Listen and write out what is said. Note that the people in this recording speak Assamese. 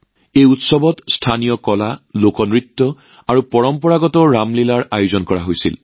এই উৎসৱত স্থানীয় কলা লোকনৃত্য আৰু পৰম্পৰাগত ৰামলীলাৰ আয়োজন কৰা হৈছিল